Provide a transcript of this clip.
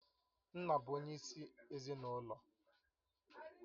Nna bụ onyeisi ezinụlọ